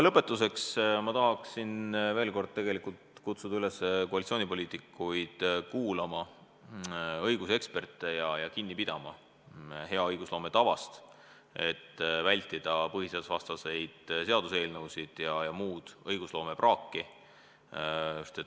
Lõpetuseks tahan veel kord kutsuda koalitsioonipoliitikuid üles kuulama õiguseksperte ja kinni pidama hea õigusloome tavast, et vältida põhiseadusvastaseid seaduseelnõusid ja muud õigusloome praaki.